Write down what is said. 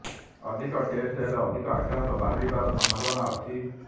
ଅଧିକ ଟେଷ୍ଟ ହେଲେ ଅଧିକ ଆକ୍ରାନ୍ତ ବାହାରିବାର ସମ୍ଭାବନା ଅଛି